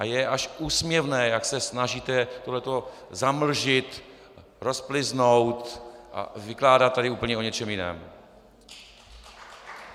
A je až úsměvné, jak se snažíte tohle to zamlžit, rozpliznout, vykládat tady úplně o něčem jiném.